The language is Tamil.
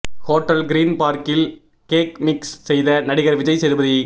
ஹோட்டல் கிரீன் பார்க்கில் கேக் மிக்ஸ் செய்த நடிகர் விஜய் சேதுபதி